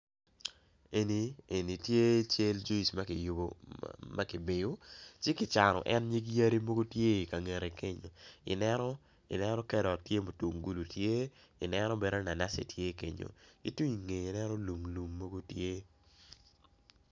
En tye cal juic ma ki biyo ci kicano en nyig yadi mogo tye i ka ngete kenyo ineno karot tye mutungulu tye tyeineno bene naci naci tye kenyo ki tung ingete ineno lum lum mogo tye i iye.